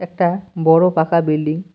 একটা বড়ো পাকা বিল্ডিং ।